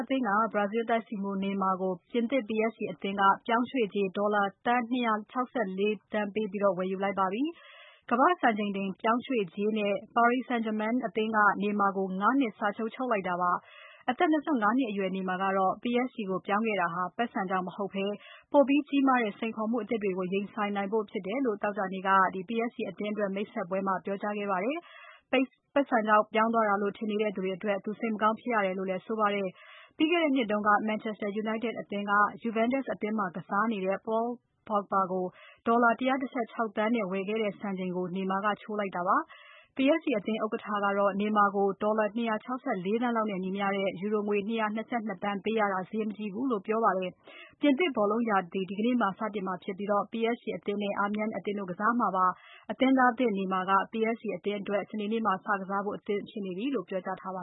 အသင်းက ဘရာဇီးတိုက်စစ်မှူး Neymar ကို ပြင်သစ် PSG အသင်းက ပြောင်းရွှေ့ကြေး ဒေါ်လာ သန်း ၂၆၄ သန်း ပေးပြီးဝယ်လိုက်ပါပြီ။ ကမ္ဘာ့စံချိန်တင်ပြောင်းရွှေ့ကြေးနဲ့ Paris Saint-Germain အသင်းက Neymar ကို ၅ နှစ်စာချုပ်လိုက်တာဖြစ်ပါတယ်။ အသက် ၂၅ နှစ်အရွယ် Neymar ကတော့ PSG ကိုပြောင်းခဲ့တာဟာ ပိုက်ဆံကြောင့် မဟုတ်ဘဲ ပိုပြီးကြီးမားတဲ့ စိန်ခေါ်မှုအသစ်တွေကို ရင်ဆိုင်ဖို့ဖြစ်တယ်လို့ သောကြာနေ့က PSG အသင်းအတွက် မိတ်ဆက်ပွဲမှာ ပြောကြားခဲ့ပါတယ်။ ပိုက်ဆံကြောင့် ပြောင်းသွားတာ လို့ ထင်နေကြတဲ့အတွက်သူ စိတ်မကောင်းဖြစ်ရတယ်လို့လည်း ဆိုပါတယ်။ ပြီးခဲ့တဲ့နှစ်တုန်းက Manchester United အသင်းက Juventus မှာကစားနေတဲ့ Paul Pogba ကို ဒေါ်လာ ၁၁၆ သန်းနဲ့ဝယ်ခဲ့တဲ့စံချိန်ကို Neymar ကချိုးလိုက်နိုင်တာဖြစ်ပါတယ်။ PSG အသင်း ဥက္ကဋ္ဌ အယ်လ်ခါလီဖီကတော့ Neymar ကို ဒေါ်လာ ၂၆၄ သန်းလောက်နဲ့ညီမျှတဲ့ ယူရိုငွေ ၂၂၂ သန်း ပေးရတာ ဈေးမကြီးကြောင်းနဲ့ ပေးရတဲ့ ပိုက်ဆံထက် ပိုပြီးပြန်ရပါလိမ့်မယ်လို့ ပြောခဲ့ပါတယ်။ ပြင်သစ်ဘောလုံးရာသီ ဒီကနေ့ စနေနေ့မှာ စတင်မှာဖြစ်ပြီး PSG အသင်းနဲ့ Amiens (အာမြန်း) အသင်းတို့ကစားကြမှာဖြစ်ပါတယ်။ အသင်းသားသစ် Neymar က PSG အသင်းအတွက် စနေနေ့မှာ စကစားဖို့ အသင့်ဖြစ်နေပြီလို့ပြောကြားထားပါ